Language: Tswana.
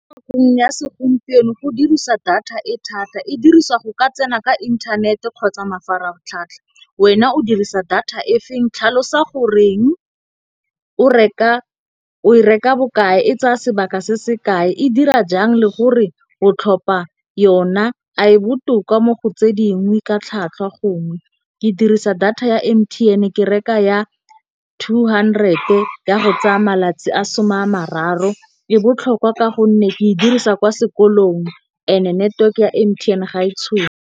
Gong ya segompieno go dirisa data e thata, e diriswa go ka tsena ka intanete kgotsa mafaratlhatlha. Wena o dirisa data e feng tlhalosa goreng o e reka bokae, e tsaya sebaka se se kae, e dira jang le gore o tlhopha yona, a e botoka mo go tse dingwe ka tlhwatlhwa gongwe. Ke dirisa data ya M_T_N ke reka ya two hundred ya go tsaya malatsi a soma mararo. E botlhokwa ka gonne ke e dirisa kwa sekolong and network-e ya M_T_N ga e tshono.